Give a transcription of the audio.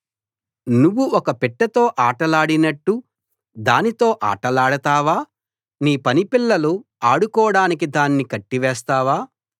నువ్వు ఒక పిట్టతో ఆటలాడినట్టు దానితో ఆటలాడతావా నీ పనిపిల్లలు ఆడుకోడానికి దాని కట్టివేస్తావా